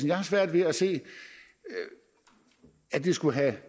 jeg har svært ved at se at det skulle have